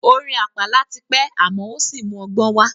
Orin àpàlà ti pẹ́ àmọ́ ò sí mú ọgbọ́n wá.